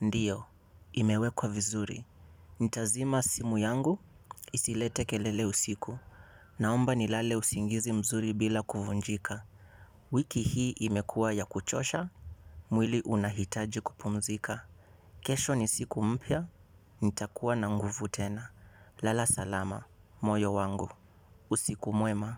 ndiyo imewekwa vizuri. Nitazima simu yangu isilete kelele usiku. Naomba nilale usingizi mzuri bila kuvunjika. Wiki hii imekua ya kuchosha. Mwili unahitaji kupumzika. Kesho ni siku mpya. Nitakuwa na nguvu tena. Lala salama moyo wangu. Usiku mwema.